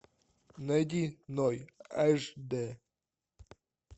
найди ной аш дэ